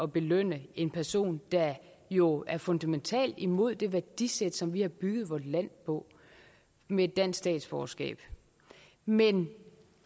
belønne en person der jo er fundamentalt imod det værdisæt som vi har bygget vort land på med et dansk statsborgerskab men